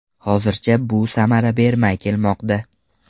Hozircha bu samara bermay kelmoqda.